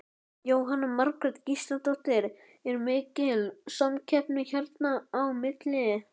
Jóhanna Margrét Gísladóttir: Er mikil samkeppni hérna á milli?